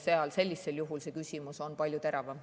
Sellisel juhul on see küsimus palju teravam.